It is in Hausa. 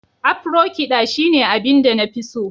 Afro- kiɗa shine abin da na fi so